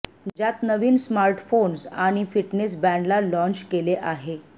ज्यात नवीन स्मार्टफोन्स आणि या फिटनेस बँडला लाँच केले आहे